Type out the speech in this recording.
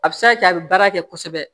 A bɛ se ka kɛ a bɛ baara kɛ kosɛbɛ